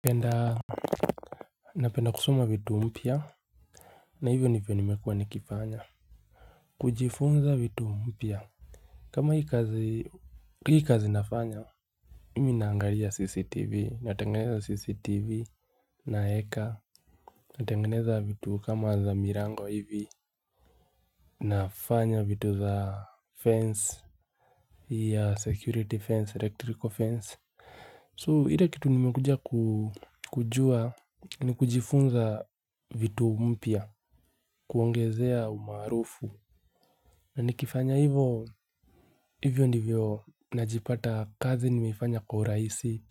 Penda. Napenda kusoma vitu mpya. Na hivyo ndivyo nimekuwa nikifanya. Kujifunza vitu mpya. Kama hii kazi nafanya mi naangalia cctv natengeneza cctv naeka. Natengeneza vitu kama za milango hivi. Nafanya vitu za fence. Ya security fence, electrical fence So ile kitu nimekuja kujua ni kujifunza vitu mpya, kuongezea umaarufu. Na nikifanya hivo, hivyo ndivyo najipata kazi nimefanya kwa urahisi,